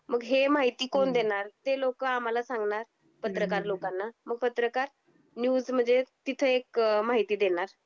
मग हे माहिती कोण देणार? ते लोक आह्माला सांगणार, हम्म हम्म हम्म पत्रकार लोकांना. मग पत्रकार न्यूज मध्ये तिथे एक माहिती देणार.